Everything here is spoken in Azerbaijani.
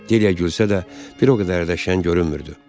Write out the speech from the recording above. Dilyə gülsə də, bir o qədər də şən görünmürdü.